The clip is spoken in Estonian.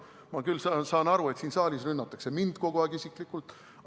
Ma saan küll aru, et siin saalis rünnatakse mind kogu aeg isiklikult.